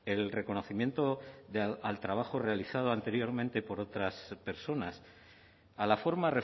el reconocimiento al trabajo realizado anteriormente por otras personas a la forma